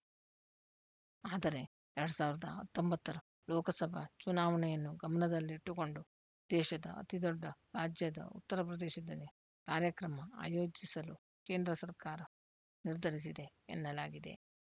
ಆದರೆ ಎರಡ್ ಸಾವಿರದ ಹತ್ತೊಂಬತ್ತರ ಲೋಕಸಭಾ ಚುನಾವಣೆಯನ್ನು ಗಮನದಲ್ಲಿಟ್ಟುಕೊಂಡು ದೇಶದ ಅತಿದೊಡ್ಡ ರಾಜ್ಯದ ಉತ್ತರಪ್ರದೇಶದಲ್ಲಿ ಕಾರ್ಯಕ್ರಮ ಆಯೋಜಿಸಲು ಕೇಂದ್ರ ಸರ್ಕಾರ ನಿರ್ಧರಿಸಿದೆ ಎನ್ನಲಾಗಿದೆ